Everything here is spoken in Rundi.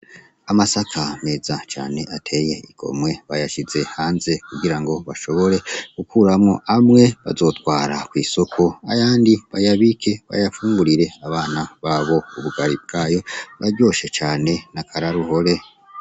Amasaka meza cane ateye igomwe bayashize hanze kugira ngo bashobore gukuramwo amwe bazotwara kwisoko, ayandi bayabike bayafungurire abana babo. Ubugari bwayo buraryoshe cane nakararuhore.